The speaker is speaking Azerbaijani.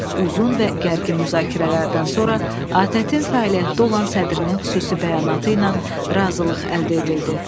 Uzun və gərgin müzakirələrdən sonra ATƏT-in fəaliyyətdə olan sədrinin xüsusi bəyanatı ilə razılıq əldə edildi.